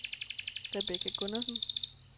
Rebecca Gundersen